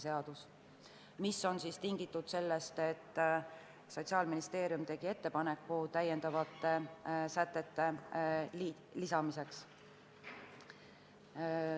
See on tingitud sellest, et Sotsiaalministeerium tegi ettepaneku täiendavate sätete lisamiseks.